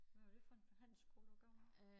Hvad var det for en handelsskole du har gået på?